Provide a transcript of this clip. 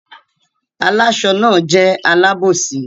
Àláṣọ náà jẹ́ alábòsí.